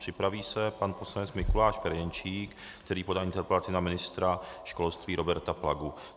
Připraví se pan poslanec Mikuláš Ferjenčík, který podal interpelaci na ministra školství Roberta Plagu.